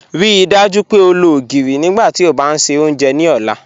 Ríí dájú pé ó lọ ogirí nígbàtí ó bá n ṣẹ ọ́njẹ̀ ni ọ̀lá.